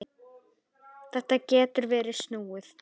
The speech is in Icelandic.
Þetta getur verið snúið.